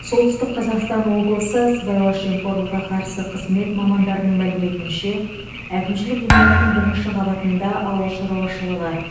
солтүстік қазақстан облысы сыбайлас жемқорлыққа қарсы қызмет мамандарының мәліметінше әкімшілік ғимараттың бірінші қабатында ауыл шаруашылығы